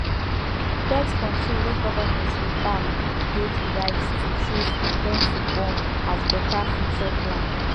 birthcontrol wey government dey backdey the right to choose when to born as better future plan